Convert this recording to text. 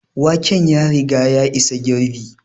Waken ya riga ya isa girɓi